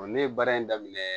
ne ye baara in daminɛ